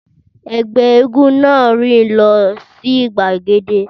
Ẹgbẹ́ éégún náà rìn lọ sí gbagede